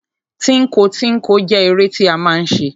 Tínko tínko jẹ́ eré tí a máa ń ṣe.